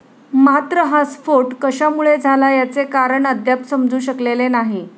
मात्र हा स्फोट कशामुळे झाला याचे कारण अद्याप समजू शकलेले नाही